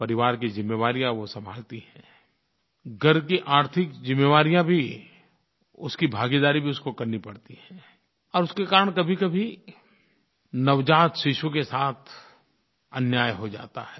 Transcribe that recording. परिवार की ज़िम्मेवारियाँ वो संभालती हैं घर की आर्थिक ज़िम्मेवारियाँ भी उसकी भागीदारी भी उसको करनी पड़ती है और उसके कारण कभीकभी नवजात शिशु के साथ अन्याय हो जाता है